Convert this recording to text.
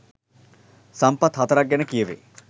සම්පත් 04 ක් ගැන කියැවේ.